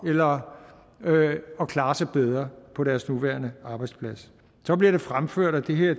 eller at klare sig bedre på deres nuværende arbejdsplads så bliver det fremført at det her